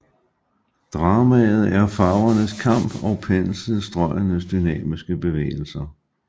Dramaet er farvernes kamp og penselstrøgenes dynamiske bevægelser